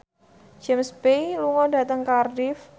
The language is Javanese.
James Bay lunga dhateng Cardiff